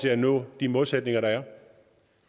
at nå de målsætninger der er